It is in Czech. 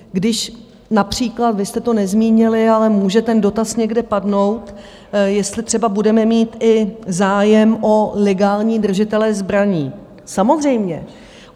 Když například vy jste to nezmínili, ale může ten dotaz někde padnout, jestli třeba budeme mít i zájem o legální držitele zbraní - samozřejmě.